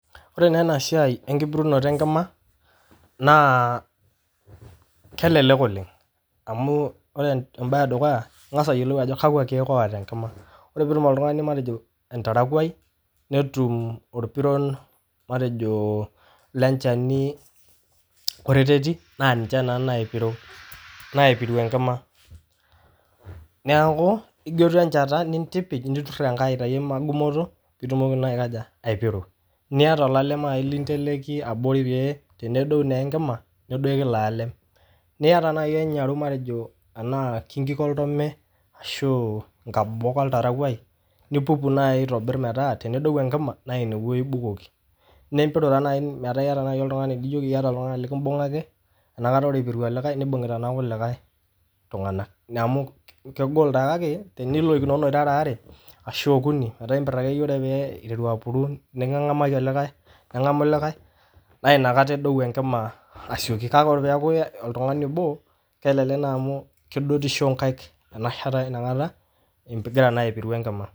Kore naa ena siaai enkipuriunoto enkima naa kelelek oleng amuu ore embaye edukuya, ingas ayiolou ajo kakwa keek oota enkima, ore peetum oltungani matejo oltarakwai, netum olpiron matejo le olcheni oreteti naa ninche naa naipiriu enkima, neaku idotu enchata nintipij, niturr enkae aitayu maa egumoto piitumoki naa aikoja, aipiru nieta olalaem ninteleki abori pee tenedeu naa enkima, nedoki ilo lalem, nieta naii enyaru matejo enaa kee enkik oltome ashuu nkabobok oltarakwai, nipuup nai aitobirr metaa tenedeu enkima naa ineweji intadoki, nimpiriu naa metaa ieta nai oltungani likimbung'aki inakata eipiriuta olikai, neibung'uta naa lkulikai tungana, ina amu kegol taa kake tenilekunono irara aare ashu okuni, mataa iimpir ake iye ore pee eitaru aapuru niking'amaki likae, neng'amu likae na inakata edeu enkima aisioki, kake ore peaku oltungani oboo kelelek naa amu kedotisho nkaika enashata enakata igira naa aipiriu enkima.